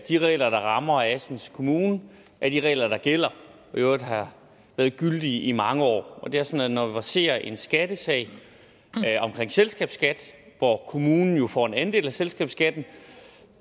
de regler der rammer assens kommune er de regler der gælder og i øvrigt har været gyldige i mange år det er sådan at når der verserer en skattesag omkring selskabsskat hvor kommunen jo får en andel af selskabsskatten